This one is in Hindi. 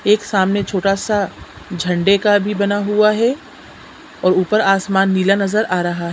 एक सामने छोटा सा झंडे का भी बना हुआ है और ऊपर आसमान नीला नज़र आ रहा है।